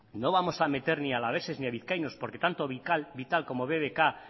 no vamos a meter ni a alaveses ni a vizcaínos porque tanto vital como bbk